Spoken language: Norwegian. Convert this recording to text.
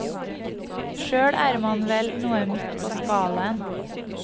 Sjøl er man vel noe midt på skalaen.